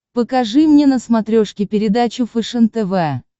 покажи мне на смотрешке передачу фэшен тв